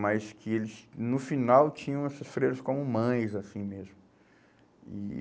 Mas que eles, no final, tinham essas freiras como mães, assim mesmo. E